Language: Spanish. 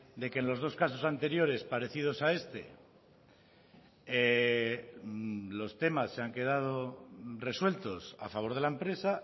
de que en los dos casos anteriores parecidos a este los temas se han quedado resueltos a favor de la empresa